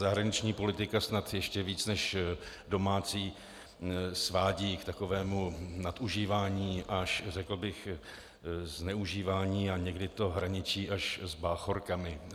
Zahraniční politika snad ještě víc než domácí svádí k takovému nadužívání až řekl bych zneužívání a někdy to hraničí až s báchorkami.